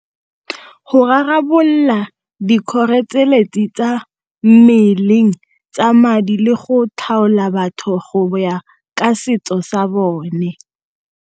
Go rarabolola tsa mmeleng, tsa madi le go tlhaola batho go ya ka setso sa bone.